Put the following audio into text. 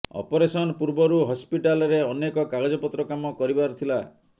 operation ପୂର୍ବରୁ ହସ୍ପିଟାଲରେ ଅନେକ କାଗଜପତ୍ର କାମ କରିବାର ଥିଲା